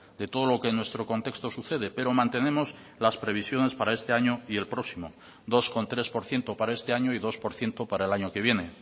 de todo lo que nuestro contexto sucede pero mantenemos las previsiones para este año y el próximo dos coma tres por ciento para este año y dos por ciento para el año que viene